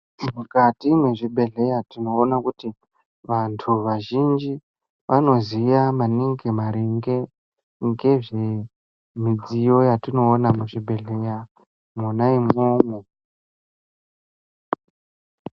Mukati mezvibhedhlera tinoona kuti vantu vazhinji vanoziya maningi maringe nezve midziyo yatinoona muzvibhedhlera mwona imomo.